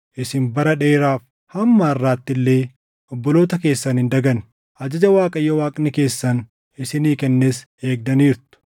Isin bara dheeraaf, hamma harʼaatti illee obboloota keessan hin daganne; ajaja Waaqayyo Waaqni keessan isinii kennes eegdaniirtu.